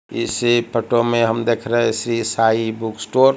इसी में हम देख रहे हैं श्री साई बुक स्टोअर --